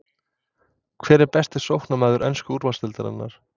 Hver er besti sóknarmaður ensku úrvalsdeildarinnar?